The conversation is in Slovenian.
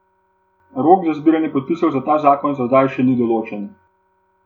Rok za zbiranje podpisov za ta zakon za zdaj še ni določen.